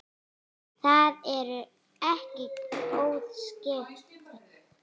Það eru ekki góð skipti.